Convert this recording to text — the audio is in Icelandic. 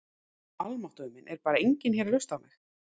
Almáttugur minn, er bara enginn hérna að hlusta á mig.